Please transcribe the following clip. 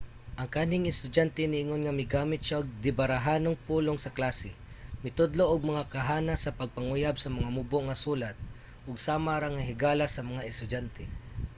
ang kanhing estudyante niingon nga 'migamit siya og dibarahanong pulong sa klase mitudlo og mga kahanas sa pagpanguyab sa mga mubo nga sulat ug sama ra nga higala sa mga estudyante.'